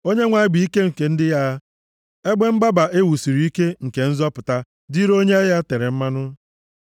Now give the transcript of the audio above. Onyenwe anyị bụ ike nke ndị ya, ebe mgbaba e wusiri ike nke nzọpụta dịịrị onye ya etere mmanụ.